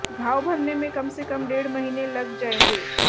घाव भरने में कम से कम डेढ़ महीने लग जाएंगे